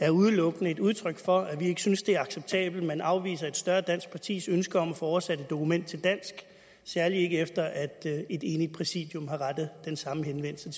er udelukkende et udtryk for at vi ikke synes det er acceptabelt at man afviser et større dansk partis ønske om at få oversat et dokument til dansk særlig ikke efter at et enigt præsidium har rettet den samme henvendelse